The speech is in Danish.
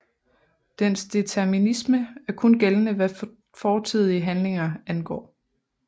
Dens determinisme er kun gældende hvad fortidige handlinger angår